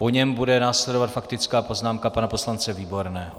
Po něm bude následovat faktická poznámka pana poslance Výborného.